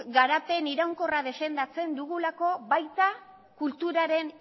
garapen iraunkorra defendatzen dugu baita kulturaren